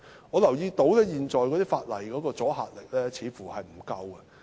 我留意到現有法例的阻嚇力似乎不足。